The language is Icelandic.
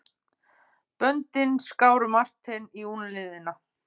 Böndin skáru Martein í úlnliðina.